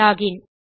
login